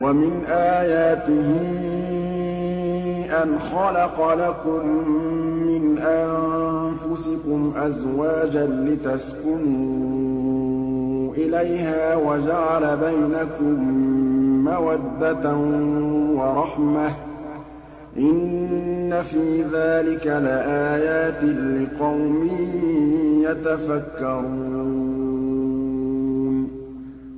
وَمِنْ آيَاتِهِ أَنْ خَلَقَ لَكُم مِّنْ أَنفُسِكُمْ أَزْوَاجًا لِّتَسْكُنُوا إِلَيْهَا وَجَعَلَ بَيْنَكُم مَّوَدَّةً وَرَحْمَةً ۚ إِنَّ فِي ذَٰلِكَ لَآيَاتٍ لِّقَوْمٍ يَتَفَكَّرُونَ